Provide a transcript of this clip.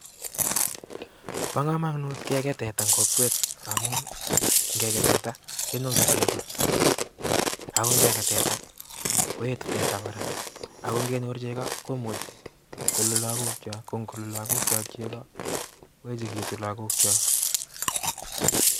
Bo komonut kegei tetaa en kokwet ngamun,,ingekei teta kenyoru chegoo, ako ingekei teta koetu teta kora, ako ngenyor chegoo komuche koluu logookyok koyechekitun missing.